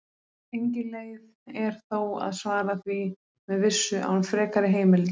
Engin leið er þó að svara því með vissu án frekari heimilda.